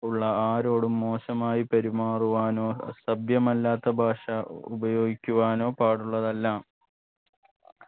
ഉള്ള ആരോടും മോശമായി പെരുമാറുവാനോ സഭ്യമല്ലാത്ത ഭാഷ ഉപയോഗിക്കുവാനോ പാടുള്ളതല്ല